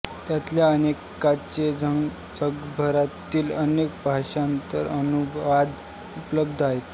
त्यातल्या अनेकांचे जगभरातील अनेक भाषांत अनुवाद उपलब्ध आहेत